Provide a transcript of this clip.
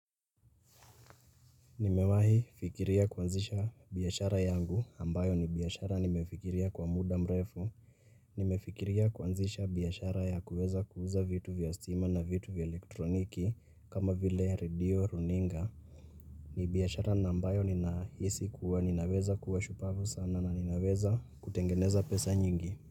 Nimewahi fikiria kuanzisha biashara yangu ambayo ni biashara nimefikiria kwa muda mrefu, nimefikiria kuanzisha biashara ya kuweza kuuza vitu vya stima na vitu vya elektroniki kama vile redio, runinga. Ni biashara na ambayo ninahisi kuwa ninaweza kuwa shupavu sana na ninaweza kutengeneza pesa nyingi.